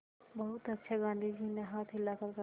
बहुत अच्छा गाँधी जी ने हाथ हिलाकर कहा